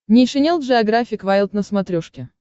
нейшенел джеографик вайлд на смотрешке